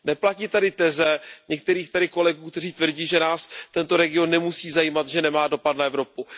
Neplatí tedy teze některých kolegů, kteří tvrdí, že nás tento region nemusí zajímat, že nemá dopad na Evropu.